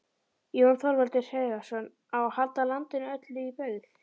Jón Þorvaldur Heiðarsson,: Á að halda landinu öllu í byggð?